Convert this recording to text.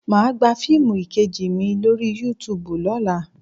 Mà á gba fiimu 'Ìkejì mi' lórí Yúutùbù lọ́la